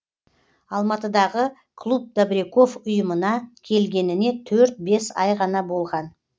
алматыдағы клуб добряков ұйымына келгеніне төрт бес ай ғана болған